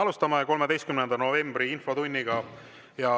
Alustame 13. novembri infotundi.